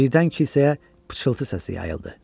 Birdən kilsəyə pıçıltı səsi yayıldı.